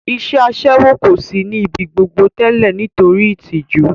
Iṣẹ́ Aṣẹ́wó kò sí ní ibi gbogbo tẹ́lẹ̀ nítorí ìtìjú